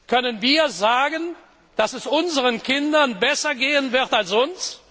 Können wir sagen, dass es unseren Kindern besser gehen wird als uns?